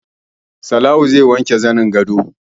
Salawu zai wanke zanin gadon